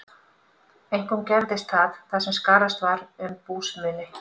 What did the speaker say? Einkum gerðist það, þar sem skarðast var um búsmuni.